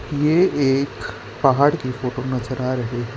ये एक पहाड़ की फोटो नजर आ रही है।